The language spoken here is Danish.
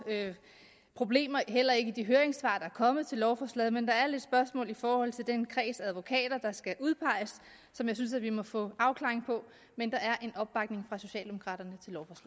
problemer heller ikke i de høringssvar der er kommet til lovforslaget men der er lidt spørgsmål i forhold til den kreds af advokater der skal udpeges som jeg synes at vi må få en afklaring på men der er en opbakning fra socialdemokraterne